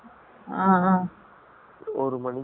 ஒரு மனிக்கு இருக்கு பா